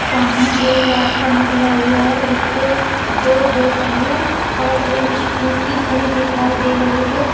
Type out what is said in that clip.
सामने एक रास्ता निकला हुआ है जिसपे दो दोपहिया और एक स्कूटी खड़ी दिखाई दे रही है।